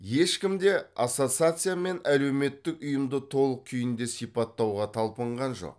ешкім де ассоциация мен әлеуметік ұйымды толық күйінде сипаттауға талпынған жоқ